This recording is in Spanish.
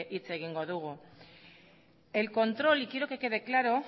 hitz egingo dugu el control y quiero que quede claro